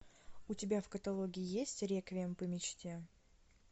у тебя в каталоге есть реквием по мечте